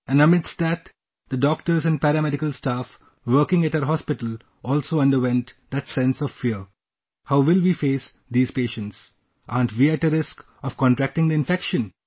And amidst that, the doctors and paramedical staff working at our hospital also underwent that sense of fear...how will we face these patients...aren't we at a risk of contracting the infection